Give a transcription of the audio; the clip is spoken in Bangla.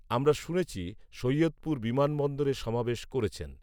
আমরা শুনেছি সৈয়দপুর বিমানবন্দরে সমাবেশ করেছেন